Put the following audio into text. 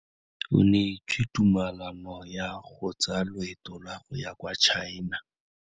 O neetswe tumalanô ya go tsaya loetô la go ya kwa China.